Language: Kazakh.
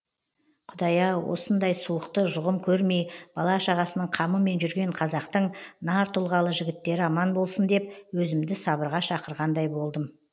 құдай ау осындай суықты жұғым көрмей бала шағасының қамымен жүрген қазақтың нар тұлғалы жігіттері аман болсын деп өзімді сабырға шақырғандай болдым